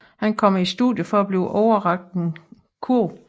Han kommer i studiet for at blive overrakt en kurv